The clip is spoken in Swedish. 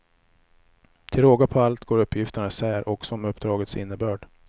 Till råga på allt går uppgifterna isär också om uppdragets innebörd.